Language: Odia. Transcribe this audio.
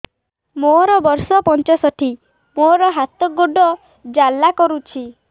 ମୋର ବର୍ଷ ପଞ୍ଚଷଠି ମୋର ହାତ ଗୋଡ଼ ଜାଲା କରୁଛି